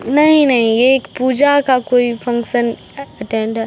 नहीं नहीं ये एक पूजा का कोई फंक्शन अटैंड --